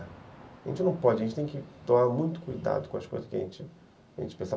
A gente não pode, a gente tem que tomar muito cuidado com as coisas que a gente pensa.